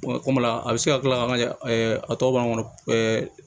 kɔmi a bɛ se ka kila ka a tɔ b'an kɔnɔ ɛɛ